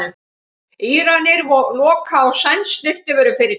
Íranar loka á sænskt snyrtivörufyrirtæki